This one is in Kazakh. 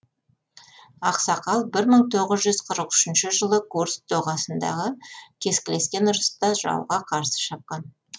ақсақал бір мың тоғыз жүз қырық үшінші жылы курск доғасындағы кескілескен ұрыста жауға қарсы шапқан